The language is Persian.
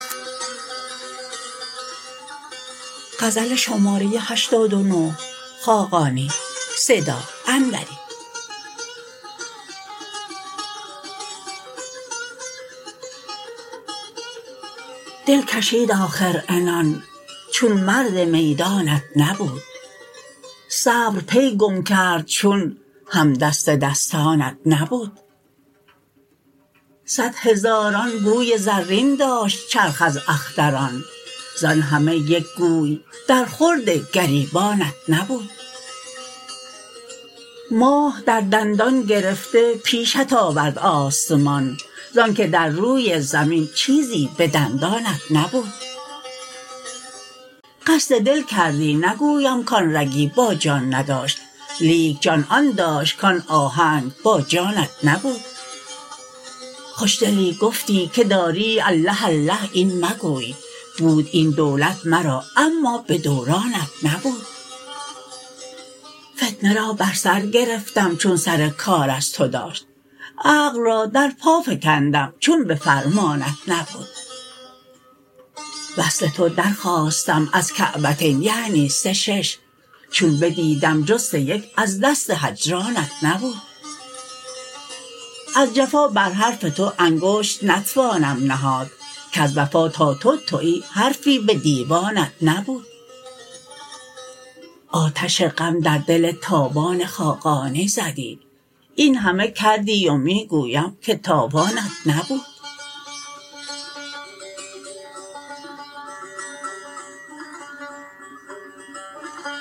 دل کشید آخر عنان چون مرد میدانت نبود صبر پی گم کرد چون همدست دستانت نبود صدهزاران گوی زرین داشت چرخ از اختران ز آن همه یک گوی در خورد گریبانت نبود ماه در دندان گرفته پیشت آورد آسمان زآنکه در روی زمین چیزی به دندانت نبود قصد دل کردی نگویم کان رگی با جان نداشت لیک جان آن داشت کان آهنگ با جانت نبود خوش دلی گفتی که داری الله الله این مگوی بود این دولت مرا اما به دورانت نبود فتنه را بر سر گرفتم چون سر کار از تو داشت عقل را در پا فکندم چون به فرمانت نبود وصل تو درخواستم از کعبتین یعنی سه شش چون بدیدم جز سه یک از دست هجرانت نبود از جفا بر حرف تو انگشت نتوانم نهاد کز وفا تا تو تویی حرفی به دیوانت نبود آتش غم در دل تابان خاقانی زدی این همه کردی و می گویم که تاوانت نبود